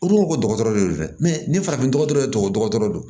U ko ko dɔgɔtɔrɔ de don dɛ ni farafin dɔgɔtɔrɔ yɛrɛ tɔgɔ don